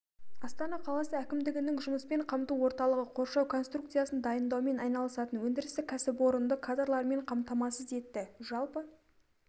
астана қаласы әкімдігінің жұмыспен қамту орталығы қоршау конструкциясын дайындаумен айналысатын өндірістік кәсіпорынды кадрлармен қамтамасыз етті жалпы